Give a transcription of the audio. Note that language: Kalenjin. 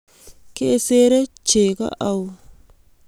Kesere cho kou